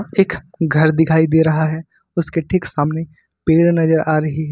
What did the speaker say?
एक घर दिखाई दे रहा है उसके ठीक सामने पेड़ नजर आ रही है।